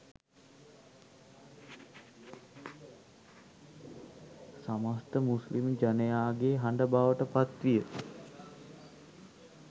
සමස්ථ Muslim ජනයාගේ හඬ බවට පත්විය